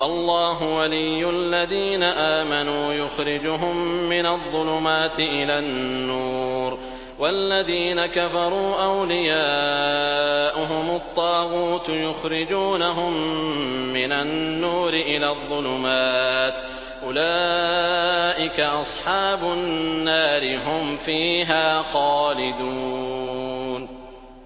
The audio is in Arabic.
اللَّهُ وَلِيُّ الَّذِينَ آمَنُوا يُخْرِجُهُم مِّنَ الظُّلُمَاتِ إِلَى النُّورِ ۖ وَالَّذِينَ كَفَرُوا أَوْلِيَاؤُهُمُ الطَّاغُوتُ يُخْرِجُونَهُم مِّنَ النُّورِ إِلَى الظُّلُمَاتِ ۗ أُولَٰئِكَ أَصْحَابُ النَّارِ ۖ هُمْ فِيهَا خَالِدُونَ